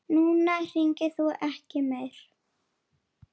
Núna hringir þú ekki meir.